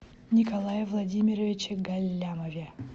николае владимировиче галлямове